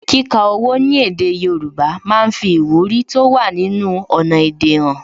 Kíka owó ní èdè Yorùbá máa ń fi ìwúrí tó wà nínú ọnà èdè han